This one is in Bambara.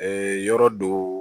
yɔrɔ do